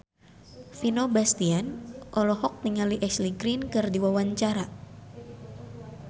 Vino Bastian olohok ningali Ashley Greene keur diwawancara